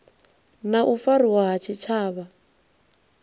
na u fariwa ha tshitshavha